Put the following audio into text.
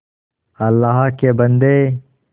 अल्लाह के बन्दे